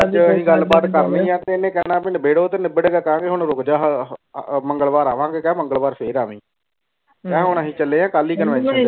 ਅੱਜ ਹੀ ਗੱਲ ਬਾਤ ਕਰਨੀ ਐਨਾ ਕੈਨਾ ਕੇ ਨੈਬੇਰੋ ਤੋਂ ਨਿਬੜਦਾ ਕੰਉ ਹੁਣ ਰੁਕ ਜਾ ਮੰਗਲਵਾਰ ਆਵਾਂ ਗੇ ਕੇ ਮੰਗਲਵਾਰ ਫੇਰ ਆਵਈ। ਕਹਿ ਹੁਣ ਐਸੀ ਚਲੇ ਅ